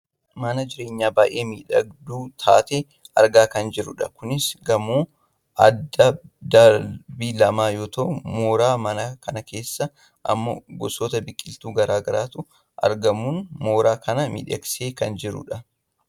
mana jireenyaa baayyee miidhagduu taate argaa kan jirrudha. kunis gamoo abbaa darbii lamaa yoo ta'u mooraa mana kanaa keessa ammoo gosoota biqiltuu gara garaatu argamuun mooraa kana miidhagsee kan jirudha.